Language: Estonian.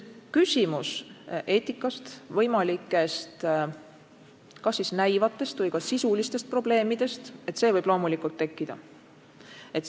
Küsimus eetikast, võimalikest kas siis näivatest või ka sisulistest probleemidest võib loomulikult tekkida.